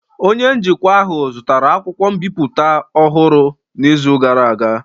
Onye njikwa ahụ zụtara akwụkwọ mbipụta ọhụrụ n'izu gara aga.